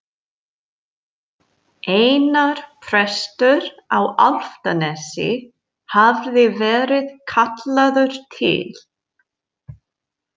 Einar prestur á Álftanesi hafði verið kallaður til.